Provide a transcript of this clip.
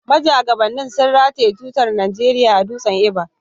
Majagabannin sun rataye tutar Najeriya a Dutsen Ever.